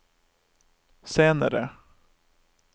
senere